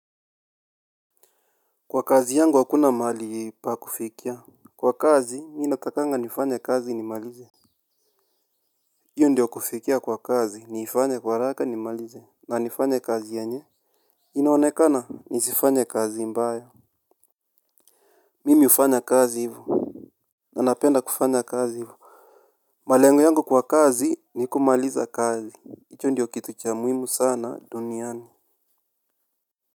Kwa kazi yangu hakuna mali pa kufikia. Kwa kazi mimi natakanga nifanye kazi ni malize, hiyo ndio kufikia kwa kazi niifanya kwa haraka nimalize na nifanya kazi yanye. Inaonekana nisifanye kazi mbaya. Mimi hufanya kazi hivo. Nanapenda kufanya kazi hivo malengo yangu kwa kazi ni kumaliza kazi hicho ndio kitu cha muhimu sana duniani.